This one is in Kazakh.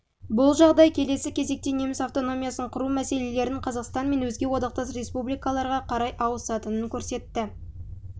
бұл жағдай келесі кезекте неміс автономиясын құру мәселелерінің қазақстан мен өзге одақтас республикаларға қарай ауысатынын көрсетті